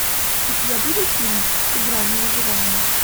у тебя будет фильм игра на выживание